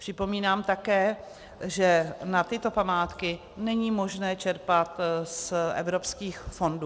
Připomínám také, že na tyto památky není možné čerpat z evropských fondů.